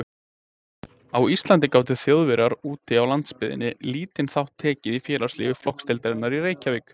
Á Íslandi gátu Þjóðverjar úti á landsbyggðinni lítinn þátt tekið í félagslífi flokksdeildarinnar í Reykjavík.